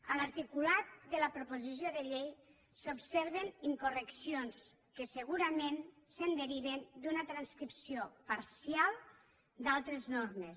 en l’articulat de la proposició de llei s’observen incorreccions que segurament es deriven d’una transcripció parcial d’altres normes